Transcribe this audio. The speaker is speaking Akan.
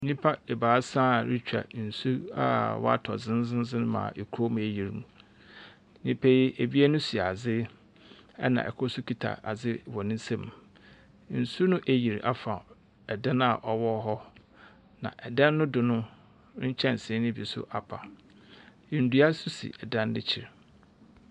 Nnipa ebaasa a wɔretwa nsu a watɔ dzendzeendzen ma kurom eyir. Nnipa yi, ebien hyɛ adze na kor nso kita adze wɔ ne nsam. Nsuo no eyir afa dan a ɔwɔ hɔ, na dan no do no, nkyɛnse no bi so apa. Ndua nso si dan no ekyir.